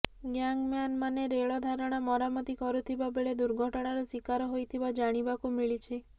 ଗ୍ୟାଙ୍ଗମ୍ୟାନମାନେ ରେଳ ଧାରଣା ମରାମତି କରୁଥିବାବେଳେ ଦୁର୍ଘଟଣାର ଶିକାର ହୋଇଥିବା ଜାଣିବାକୁ ମିଳିଛି